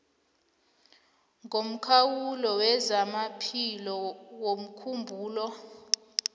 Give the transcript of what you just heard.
ngomkhawulo wezamaphilo womkhumbulo